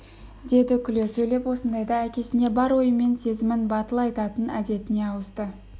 деді күле сөйлеп осындайда әкесіне бар ойы мен сезімін батыл айтатын әдетіне ауысты